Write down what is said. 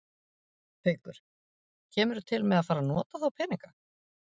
Haukur: Kemurðu til með að fara að nota þá peninga?